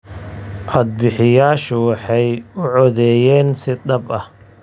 Codbixiyayaashu waxay u codeeyeen si dhab ah.